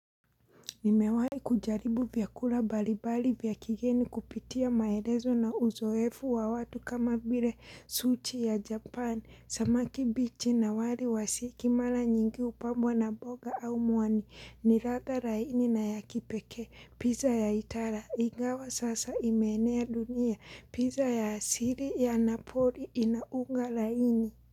Nimewahi kujaribu vyakula mbalimbali vya kigeni kupitia maelezo na uzoefu wa watu kama vile sushi ya Japan, samaki bichi na wali wa siki, mara nyingi hupambwa na mboga au mwani, ni ladha laini na ya kipekee, pizza ya itara, ingawa sasa imeenea dunia, pizza ya siri ya napoli ina unga laini.